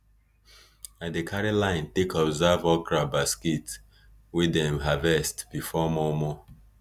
i dey carry line take observe okra basket wey dem harvest harvest for mor mor